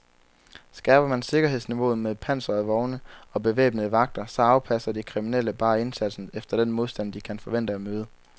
Skærper man sikkerhedsniveauet med pansrede vogne og bevæbnede vagter, så afpasser de kriminelle bare indsatsen efter den modstand, de kan forvente at møde.